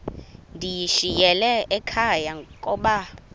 ndiyishiyile ekhaya koba